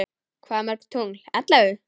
Hvað mörg tungl ellefu?